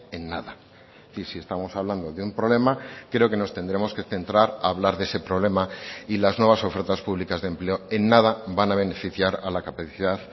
en nada y si estamos hablando de un problema creo que nos tendremos que centrar a hablar de ese problema y las nuevas ofertas públicas de empleo en nada van a beneficiar a la capacidad